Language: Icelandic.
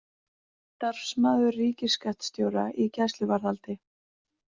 Starfsmaður ríkisskattstjóra í gæsluvarðhaldi